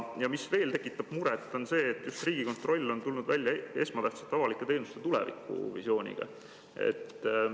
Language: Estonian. Ja mis veel tekitab muret: Riigikontroll on tulnud välja esmatähtsate avalike teenuste tulevikuvisiooniga.